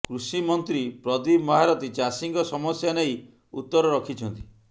କୃଷିମନ୍ତ୍ରୀ ପ୍ରଦୀପ ମହାରଥୀ ଚାଷୀଙ୍କ ସମସ୍ୟା ନେଇ ଉତର ରଖିଛନ୍ତି